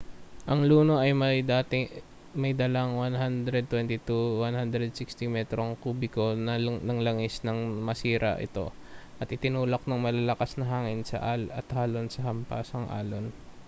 ang luno ay may dalang 120-160 metrong kubiko ng langis nang masira ito at itinulak ng malalakas na hangin at alon sa hampasang-alon